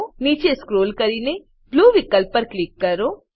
નીચે સ્ક્રોલ કરીને બ્લૂ વિકલ્પ પર ક્લિક કરો